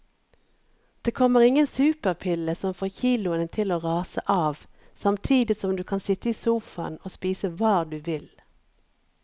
Det kommer ingen superpille som får kiloene til å rase av samtidig som du kan sitte i sofaen og spise hva du vil.